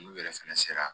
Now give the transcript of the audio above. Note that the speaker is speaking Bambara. N'u yɛrɛ fɛnɛ sera